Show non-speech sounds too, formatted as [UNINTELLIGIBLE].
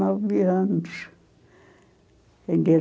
anos. [UNINTELLIGIBLE]